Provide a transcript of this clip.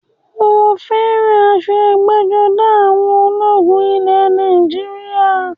Mo fẹ́ràn aṣọ ẹgbẹ́-jọdá àwọn ológun ilẹ̀ Nàìjíríà.